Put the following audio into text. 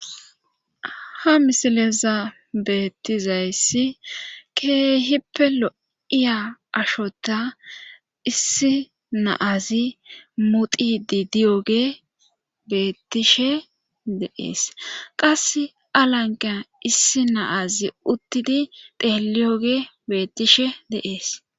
Ma misileza beettizayssi keehippe lo'iya ashota issi naazi mudidi diyoge beettishe deees qas alanqa issi naazi uttidi teeliyoge beettishe deees.